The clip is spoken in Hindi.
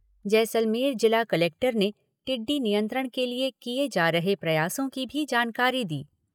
जैसलमेर जिला कलेक्टर ने टिड्डी नियंत्रण के लिए किए जा रहे प्रयासों की भी जानकारी दी।